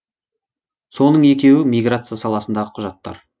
соның екеуі миграция саласындағы құжаттар